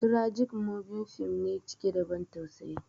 "Tragic movie" fim ne cike da ban tausayi